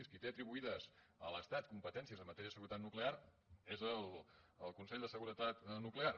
qui té atribuïdes a l’estat competències en matèria de seguretat nuclear és el consell de seguretat nuclear